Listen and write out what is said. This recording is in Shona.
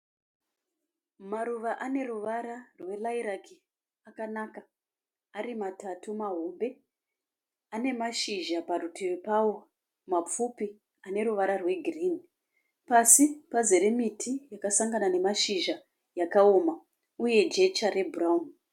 Maruva ane ruvara rwe liriaki akanaka, ari matatu mahombe, ane mashizha parutivi pawo mapfupi aneruvara rweghirini, pasi pazere miti yakasangana nemashizha akaoma uye pane jecha rwe bhurauni.